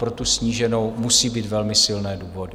Po tu sníženou musí být velmi silné důvody.